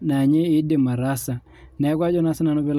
naa ninye enidim ataasa neeku Ajo naa sinanu pee elo